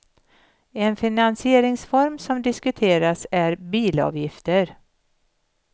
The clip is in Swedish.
En finansieringsform som diskuterats är bilavgifter.